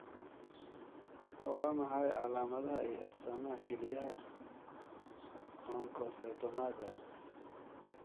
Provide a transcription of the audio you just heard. Waa maxay calaamadaha iyo astaamaha kelyaha oncocytomaga?